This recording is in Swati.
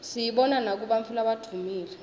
siyibona nakubantfu labadvumile